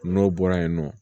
N'o bɔra yen nɔ